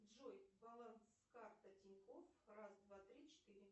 джой баланс карта тинькоффф раз два три четыре